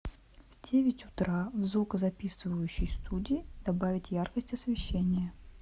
в девять утра в звукозаписывающей студии добавить яркость освещения